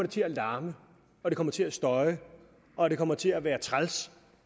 til at larme og det kommer til at støje og det kommer til at være træls